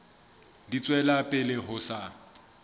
di tswela pele ho sa